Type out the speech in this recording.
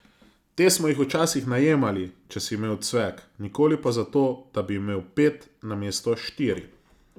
Te smo jih včasih najemali, če si imel cvek, nikoli pa zato, da bi imel pet namesto štiri.